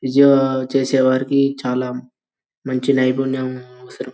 physio చేసేవారికి చాలా మంచి నైపుణ్యం అవసరం --